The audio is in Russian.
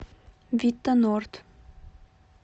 вита норд